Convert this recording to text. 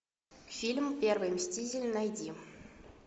фильм первый мститель найди